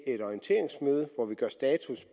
et orienteringsmøde hvor vi gør status